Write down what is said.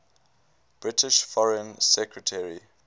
british foreign secretary